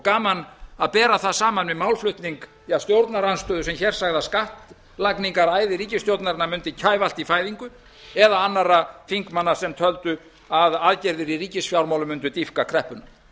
gaman að bera það saman við málflutning stjórnarandstöðu sem hér sagði að skattlagningaræði ríkisstjórnarinnar mundi kæfa allt í fæðingu eða annarra þingmanna sem töldu að aðgerðir í ríkisfjármálum mundu dýpka kreppuna